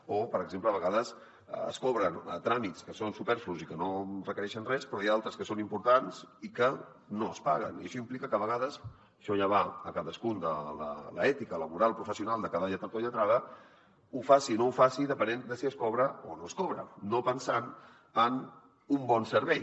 o per exemple a vegades es cobren tràmits que són superflus i que no requereixen res però n’hi ha d’altres que són importants i que no es paguen i això implica que a vegades això ja va de cadascun l’ètica laboral professional de cada lletrat o lletrada ho faci o no ho faci depenent de si es cobra o no es cobra no pensant en un bon servei